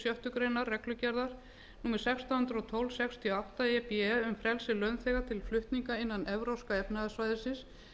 sjöttu grein reglugerðar númer sextán hundruð og tólf sextíu og átta e b e um frelsi launþega til flutninga innan evrópska efnahagssvæðisins